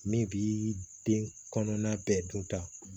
Min bi den kɔnɔna bɛɛ dun ta